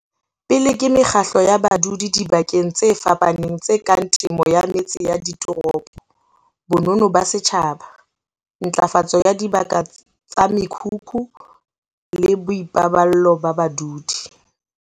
pele ke mekgatlo ya badudi dibakeng tse fapafapaneng tse kang temo ya metse ya ditoropo, bonono ba setjhaba, ntlafatso ya dibaka tsa mekhukhu le boipaballo ba badudi.